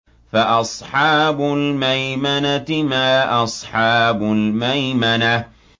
فَأَصْحَابُ الْمَيْمَنَةِ مَا أَصْحَابُ الْمَيْمَنَةِ